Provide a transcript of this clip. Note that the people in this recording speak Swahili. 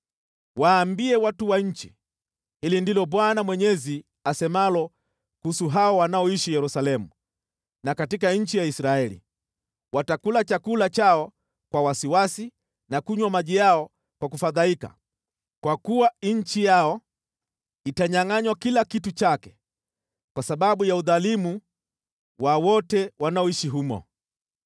Waambie watu wa nchi: ‘Hili ndilo Bwana Mwenyezi asemalo kuhusu hao wanaoishi Yerusalemu na katika nchi ya Israeli: Watakula chakula chao kwa wasiwasi na kunywa maji yao kwa kufadhaika, kwa kuwa nchi yao itanyangʼanywa kila kitu chake kwa sababu ya udhalimu wa wote wanaoishi humo.